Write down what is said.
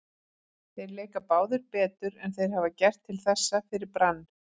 Þeir leika báðir betur en þeir hafa gert til þessa fyrir Brann.